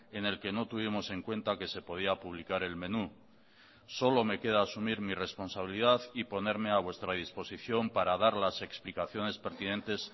en el que no tuvimos en cuenta que se podía publicar el menú solo me queda asumir mi responsabilidad y ponerme a vuestra disposición para dar las explicaciones pertinentes